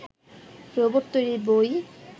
robot তৈরির বই